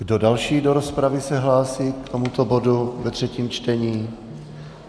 Kdo další do rozpravy se hlásí k tomuto bodu ve třetím čtení?